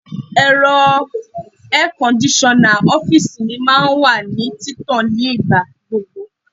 Ẹ̀rọ air kondisona ọ́fíìsì mi máa ń wà ní títàn nígbà gbogbo.